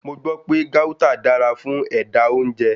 Mo gbọ́ pé Gauta dára fún ẹ̀dà-oúnjẹ.